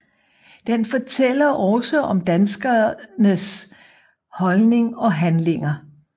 Den fortæller også om danskenes holdning og handlinger